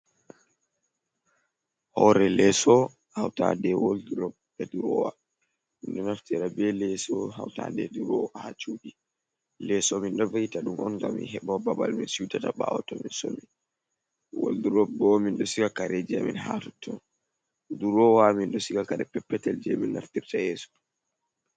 Hore leso hautade e woldrop be drowa, minɗo naftira be leso hauta de durowa ha cuɗi, leso min ɗo vi'ita dum on gam heba babal mi suetata bawo tomin somi, waldrop bo minɗo siga kare je amin haa tutton, durowa minɗo siga kare peppetel jemin naftirta yeso.